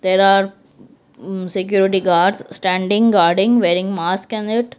there are security guards standing guarding wearing mask and that.